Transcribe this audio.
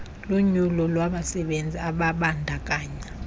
lunyulo labasebenzi ababandakanya